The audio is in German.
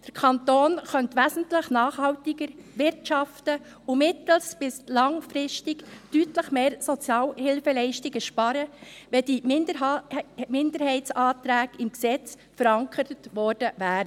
Der Kanton könnte wesentlich nachhaltiger wirtschaften und mittel- bis langfristig deutlich mehr Sozialhilfeleistungen sparen, wenn diese Minderheitsanträge im Gesetz verankert worden wäre.